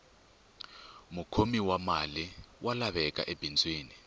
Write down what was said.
mukhomi wa mali wa laveka ebindzwini